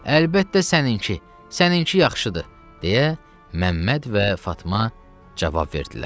Əlbəttə səninki, səninki yaxşıdır, deyə Məmməd və Fatma cavab verdilər.